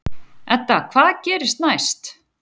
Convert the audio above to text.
Edda: Hvað gerist næst?